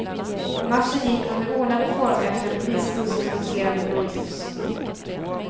Marschen gick under ordnade former efter en polisbuss med roterande blåljus.